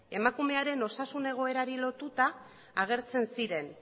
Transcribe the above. emakumearen osasun egoerari lotuta agertzen ziren